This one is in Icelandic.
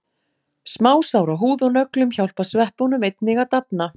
Smásár á húð og nöglum hjálpa sveppunum einnig að dafna.